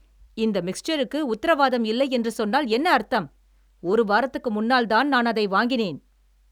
இந்த மிக்சருக்கு உத்தரவாதம் இல்லை என்று சொன்னால் என்ன அர்த்தம்? ஒரு வாரத்துக்கு முன்னால்தான் நான் அதை வாங்கினேன்!